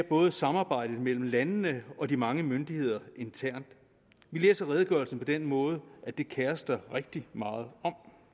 både samarbejdet mellem landene og mellem de mange myndigheder internt vi læser redegørelserne på den måde at det kerer man sig rigtig meget om